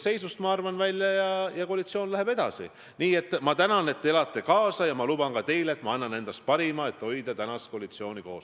Nii et ma arvan, et kui me seda debatti peame, peaks siiski olema võimalik suuta teatud asju üksteisest lahutada ja rääkida neist ükshaaval.